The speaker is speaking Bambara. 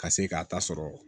Ka se k'a ta sɔrɔ